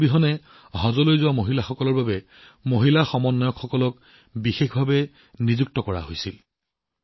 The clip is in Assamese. মেহৰাম অবিহনে হজত যোৱা মহিলাসকলৰ বাবে বিশেষভাৱে মহিলা সমন্বয়ক নিযুক্তি দিয়া হৈছিল